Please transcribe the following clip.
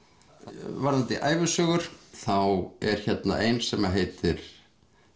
varðandi ævisögur þá er hérna ein sem heitir